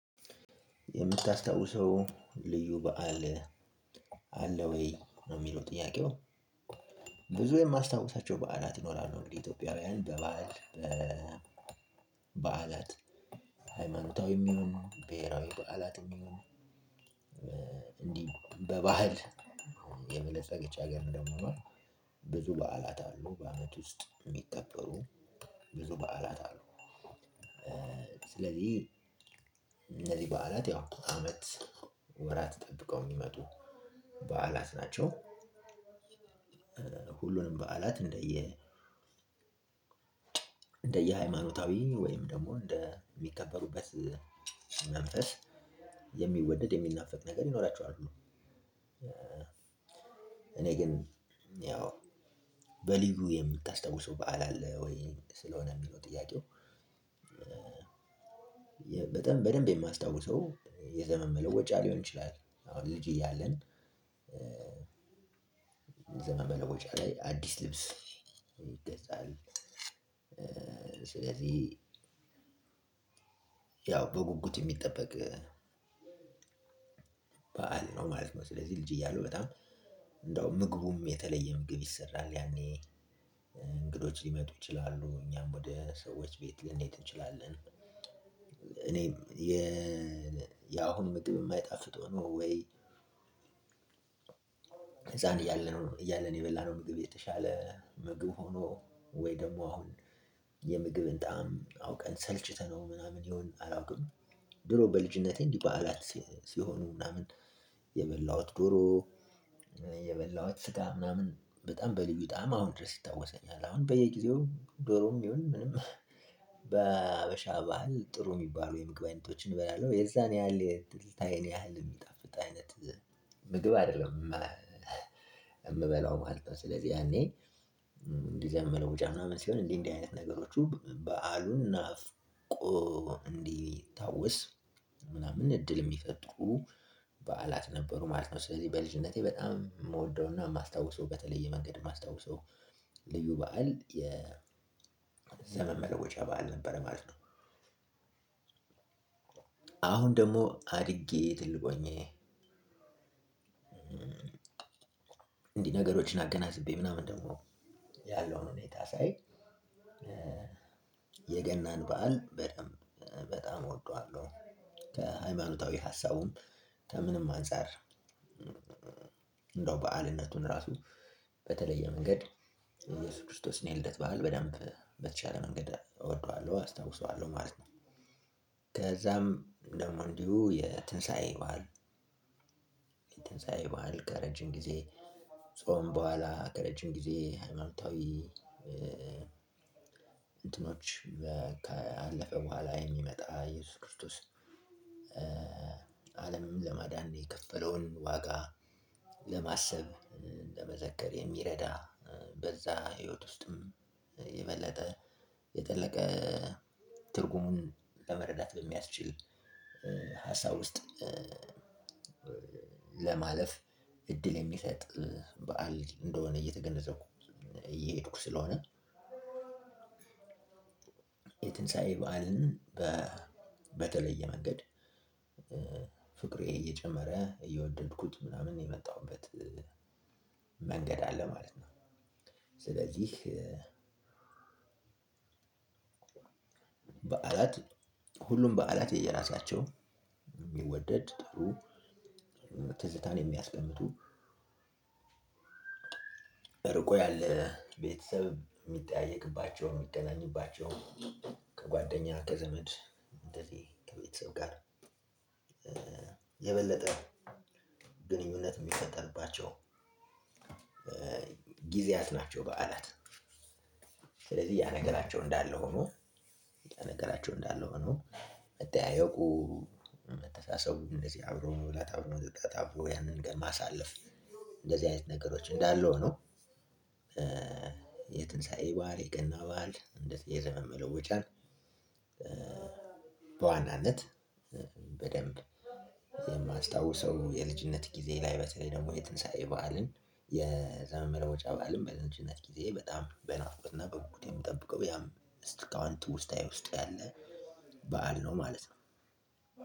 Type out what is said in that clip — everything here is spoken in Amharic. የምታስታውሰው ልዩ በዓል አለ ወይ ነው የሚለው ጥያቄው? የማስታውሳቸው በዓላት ይኖራሉ እንግዲህ ኢትዮጵያውያን በበዓል በበዓላት ሃይማኖታዊም ይሁን ብሄራዊ በዓላትም ይሁን። እንዲህ በባህል የበለጸገች ሀገር እንደመሆኗ ብዙ በዓላት አሉ በአመት ውስጥ የሚከበሩ ብዙ በዓላት አሉ። ስለዚህ እነዚህ በዓላት ያው አመት ወራት ጠብቀው የሚመጡ በዓላት ናቸው። በዓላት እንደየ እንደየሃይማኖታዊ ወይም ደግሞ እንደሚከበሩበት መንፈስ የሚወደድ የሚናፈቅ ነገር ይኖራቸዋል። እኔ ግን ያው በልዩ የምታስታውሰው በዓል አለ ወይ ስለሆነ የሚለው ጥያቄው? በጣም በደንብ የማስታውሰው የዘመን መለወጫ ሊሆን ይችላል። አሁን ልጅ እያለን የዘመን መለወጫ ላይ አዲስ ልብስ ይገዛል። ስለዚህ ያው በጉጉት የሚጠበቅ በዓል ነው ማለት ነው። ስለዚህ ልጅ እያለሁ በጣም እንደው ምግቡም የተለየ ምግብ ይሰራል ያኔ እንግዶች ሊመጡ ይችላሉ እኛም ወደ ሰዎች ቤት ልንሄድ እንችላለን። እኔ የ የአሁን ምግብ የማይጣፍጥ ሆኖ ወይ ህፃን እያለን እያለን የበላነው ምግብ የተሻለ ምግብ ሆኖ ወይ ደግሞ አሁን የምግብን ጣዕም አውቀን ሰልችተነው ምናምን ይሁን አላውቅም። ድሮ በልጅነቴ እንዲህ በዓላት ሲሆኑ ምናምን የበላሁት ዶሮ የበላሁት ስጋ ምናምን በጣም በልዩ ጣዕም አሁን ድረስ ይታወሰኛል። አሁን በየጊዜው ዶሮም ይሁን ምንም በሀበሻ ባህል ጥሩ የሚባሉ የምግብ አይነቶችን እበላለሁ የዛን ያህል ትዝታዬን ያህል የሚጣፍጥ አይነት ምግብ አይደለም የምበላው ማለት ነው። ስለዚህ ያኔ እንዲህ የዘመን መለወጫ ምናምን ሲሆን እንዲህ እንዲህ አይነት ነገሮቹ በዓሉን ናፍቆ እንዲታወስ ምናምን እድል የሚፈጥሩ በዓላት ነበሩ ማለት ነው። ስለዚህ በልጅነቴ በጣም ምወደውና ማስታውሰው በተለየ መንገድ የማስታውሰው ልዩ በዓል የዘመን መለወጫ በዓል ነበር ማለት ነው። አሁን ደግሞ አድጌ ትልቅ ሆኜ እንዲህ ነገሮችን አገናዝቤ ምናምን ደግሞ ያለውን ሁኔታ ሳይ የገናን በዓል በደንብ በጣም እወደዋለው። ከሃይማኖታዊ ሀሳቡም ከምንም አንፃር በዓልነቱን ራሱ በተለየ መንገድ እየሱስ ክርስቶስን የልደት በዓል በደንብ በተቻለ መንገድ እወደዋለሁ አስታውሰዋለሁ ማለት ነው። ከዛም ደሞ እንዲሁ የትንሳኤ በዓል የትንሳኤ በዓል ከረጅም ጊዜ ጾም በኋላ ከረጅም ጊዜ ሃይማኖታዊ እንትኖች ካለፈ በኋላ የሚመጣ እየሱስ ክርስቶስ። አለምን ለማዳን የከፈለውን ዋጋ ለማሰብ ለመዘከር የሚረዳ በዛ ህይወት ውስጥም የበለጠ የጠለቀ ትርጉሙን ለመረዳት በሚያስችል ሀሳብ ውስጥ። ለማለፍ እድል የሚሰጥ በዓል እንደሆነ እየተገነዘብኩ እየሄድኩ ስለሆነ የትንሳኤ በዓልን በተለየ መንገድ ፍቅሬ እየጨመረ እየወደድኩት ምናምን የመጣሁበት መንገድ አለ ማለት ነው። ስለዚህ በዓላት ሁሉም በዓላት የየራሳቸው የሚወደድ ጥሩ ትዝታን የሚያስቀምጡ ርቆ ያለ ቤተሰብ የሚጠያየቅባቸው የሚገናኙባቸው ከጓደኛ ከዘመድ እንደዚህ ከቤተሰብ ጋር የበለጠ ግንኙነት የሚፈጠርባቸው ጊዜያት ናቸው። በዓላት ስለዚህ ያ ነገራቸው እንዳለ ሆኖ ያ ነገራቸው እንዳለ ሆኖ መጠያየቁ መተሳሰቡ እንደዚህ አብሮ መብላት አብሮ መጠጣት አብሮ ያንን ቀን ማሳለፍ እንደዚህ አይነት ነገሮች እንዳለው ነው። የትንሳኤ በዓል የገና በዓል የዘመን መለወጫን በዋናነት በደንብ የማስታውሰው የልጅነት ጊዜ ላይ በተለይ ደግሞ የትንሳኤ በዓልን የዘመን መለወጫ በዓልን በልጅነት ጊዜዬ በጣም በናፍቆትና በጉጉት የምጠብቀው ያም እስካሁን ትውስታዬ ውስጥ ያለ በዓል ነው ማለት ነው።